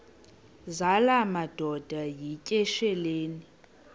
zala madoda yityesheleni